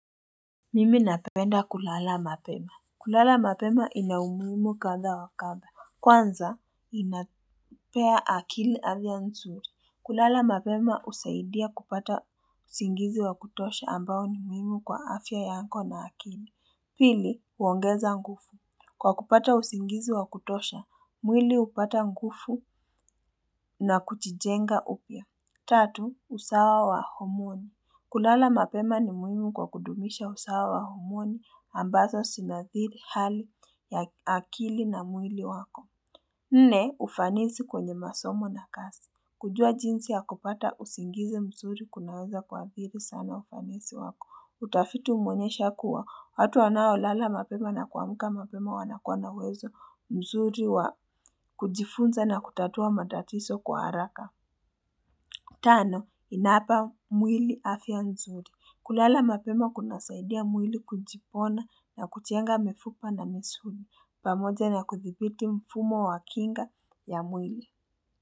Mimi napenda kulala mapema. Kulala mapema inaumuhimu kadha wa kadha. Kwanza, inapea akili afya nzuri. Kulala mapema husaidia kupata usingizi wa kutosha ambao ni muhimu kwa afya yako na akili. Pili, uongeza nguvu. Kwa kupata usingizi wa kutosha mwili hupata nguvu na kujijenga upya Tatu, usawa wa homoni. Kulala mapema ni muhimu kwa kudumisha usawa wa humoni ambazo zinadhiri hali ya akili na mwili wako. Nne, ufanisi kwenye masomo na kazi. Kujua jinsi ya kupata usingizi mzuri kunaweza kuhadhiri sana ufanisi wako. Utafiti umeonyesha kuwa, watu wanaolala mapema na kuamka mapema wanakuwa na uwezo mzuri wa kujifunza na kutatua matatizo kwa haraka. Tano, inapa mwili afya nzuri. Kulala mapema kunasaidia mwili kujipona na kujenga mifupa na misuli. Pamoja na kuthibiti mfumo wa kinga ya mwili.